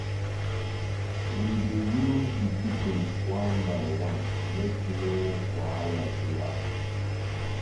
we dey use di kitchen one by one make no wahala dey happen.